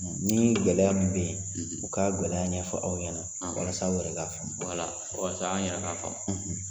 Ni gɔlɛya min be yen , u ka gɔlɛya ɲɛfɔ aw ɲɛna walasa aw yɛrɛ ka faamu walasa an yɛrɛ ka faamu.